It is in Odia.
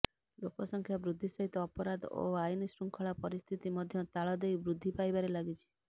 ଲୋକ ସଂଖା ବୃଦ୍ଧି ସହିତ ଅପରାଧ ଓ ଆଇନଶୃଙ୍ଖଳା ପରିସ୍ଥିତି ମଧ୍ୟ ତାଳ ଦେଇ ବୃଦ୍ଧି ପାଇବାରେ ଲାଗିଛି